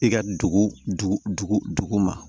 I ka dugu dugu ma